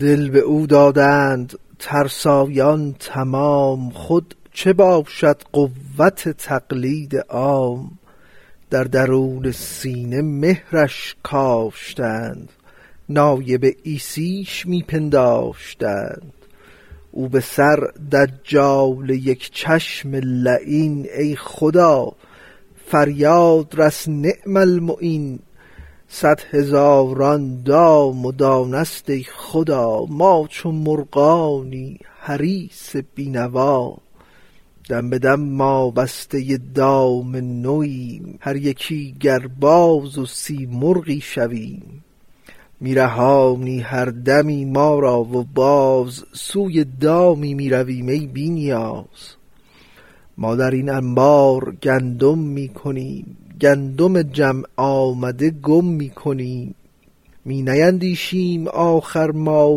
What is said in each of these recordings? دل بدو دادند ترسایان تمام خود چه باشد قوت تقلید عام در درون سینه مهرش کاشتند نایب عیسیش می پنداشتند او به سر دجال یک چشم لعین ای خدا فریاد رس نعم المعین صد هزاران دام و دانه ست ای خدا ما چو مرغان حریص بی نوا دم بدم ما بسته دام نویم هر یکی گر باز و سیمرغی شویم می رهانی هر دمی ما را و باز سوی دامی می رویم ای بی نیاز ما درین انبار گندم می کنیم گندم جمع آمده گم می کنیم می نیندیشیم آخر ما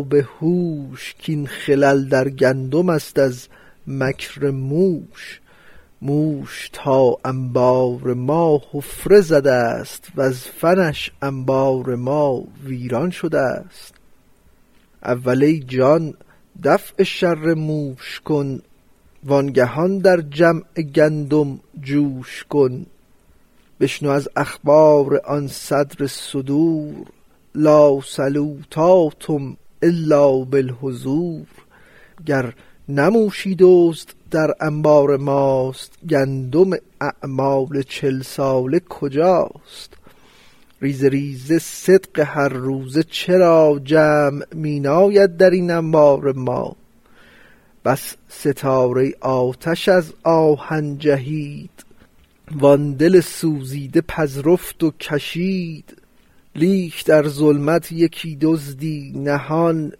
بهوش کین خلل در گندمست از مکر موش موش تا انبار ما حفره زدست وز فنش انبار ما ویران شدست اول ای جان دفع شر موش کن وانگهان در جمع گندم جوش کن بشنو از اخبار آن صدر الصدور لا صلوة تم الا بالحضور گر نه موشی دزد در انبار ماست گندم اعمال چل ساله کجاست ریزه ریزه صدق هر روزه چرا جمع می ناید درین انبار ما بس ستاره آتش از آهن جهید وان دل سوزیده پذرفت و کشید لیک در ظلمت یکی دزدی نهان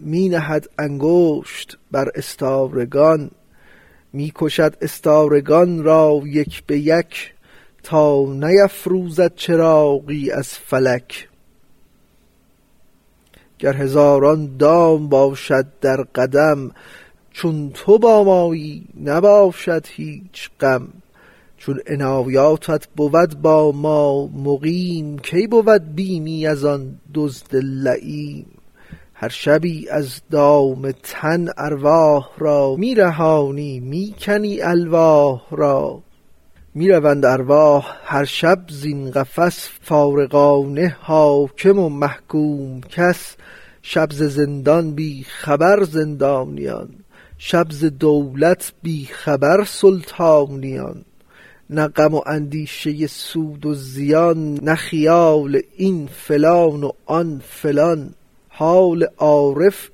می نهد انگشت بر استارگان می کشد استارگان را یک به یک تا که نفروزد چراغی از فلک گر هزاران دام باشد در قدم چون تو با مایی نباشد هیچ غم چون عنایاتت بود با ما مقیم کی بود بیمی از آن دزد لییم هر شبی از دام تن ارواح را می رهانی می کنی الواح را می رهند ارواح هر شب زین قفس فارغان نه حاکم و محکوم کس شب ز زندان بی خبر زندانیان شب ز دولت بی خبر سلطانیان نه غم و اندیشه سود و زیان نه خیال این فلان و آن فلان حال عارف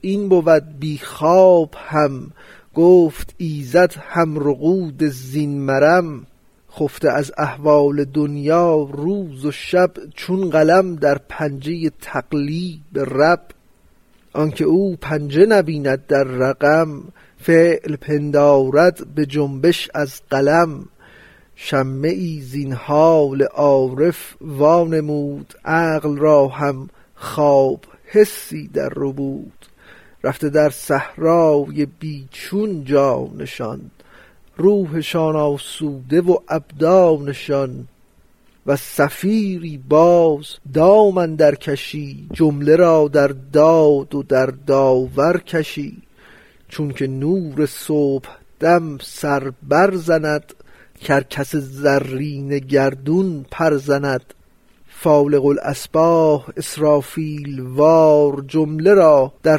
این بود بی خواب هم گفت ایزد هم رقود زین مرم خفته از احوال دنیا روز و شب چون قلم در پنجه تقلیب رب آنک او پنجه نبیند در رقم فعل پندارد بجنبش از قلم شمه ای زین حال عارف وا نمود عقل را هم خواب حسی در ربود رفته در صحرای بی چون جانشان روحشان آسوده و ابدانشان وز صفیری باز دام اندر کشی جمله را در داد و در داور کشی چونک نور صبحدم سر بر زند کرکس زرین گردون پر زند فالق الاصباح اسرافیل وار جمله را در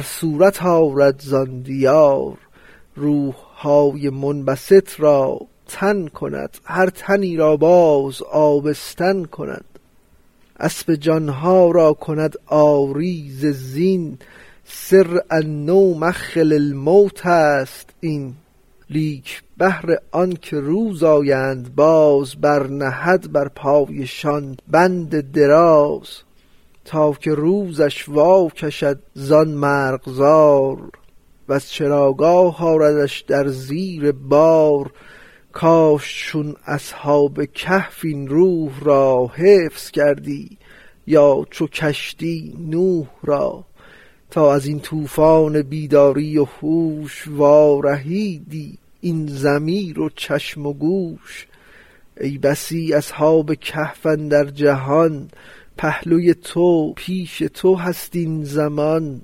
صورت آرد زان دیار روحهای منبسط را تن کند هر تنی را باز آبستن کند اسپ جانها را کند عاری ز زین سر النوم اخ الموتست این لیک بهر آنک روز آیند باز بر نهد بر پایشان بند دراز تا که روزش واکشد زان مرغزار وز چراگاه آردش در زیر بار کاش چون اصحاب کهف این روح را حفظ کردی یا چو کشتی نوح را تا ازین طوفان بیداری و هوش وا رهیدی این ضمیر و چشم و گوش ای بسی اصحاب کهف اندر جهان پهلوی تو پیش تو هست این زمان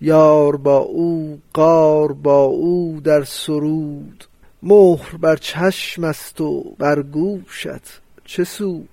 یار با او غار با او در سرود مهر بر چشمست و بر گوشت چه سود